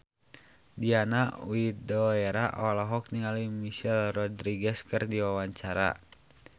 Diana Widoera olohok ningali Michelle Rodriguez keur diwawancara